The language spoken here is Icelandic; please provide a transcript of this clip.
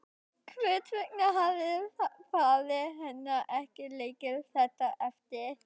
Hvers vegna hafði faðir hennar ekki leikið þetta eftir?